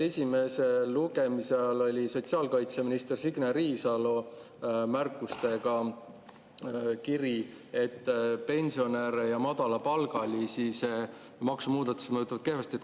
Esimese lugemise ajal oli sotsiaalkaitseminister Signe Riisalo märkustega kiri, et pensionäre ja madalapalgalisi mõjutab see maksumuudatus kehvasti.